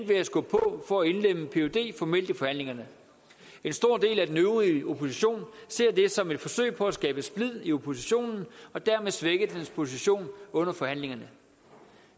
ved at skubbe på for at indlemme pyd formelt i forhandlingerne en stor del af den øvrige opposition ser det som et forsøg på at skabe splid i oppositionen og dermed svække dens position under forhandlingerne